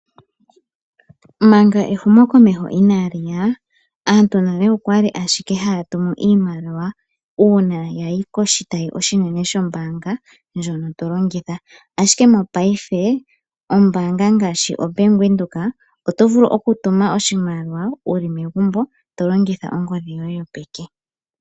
Manga ehumokomeho ina liya, aantu nale okwa li ashike haya tumu iimaliwa uuna yayi koshitayi oshinene shombanga ndjono to longitha ashike mongaashingeyi ombanga ngaashi oBank Windhoek oto vulu okutuma oshimaliwa wu li megumbo to longitha ongodhi yoye yo peke.